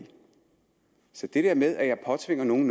så det der med at jeg påtvinger nogen